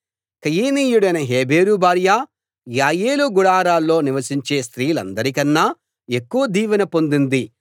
కయీనీయుడైన హెబెరు భార్య యాయేలు గుడారాల్లో నివసించే స్త్రీలందరికన్నా ఎక్కువ దీవెన పొందింది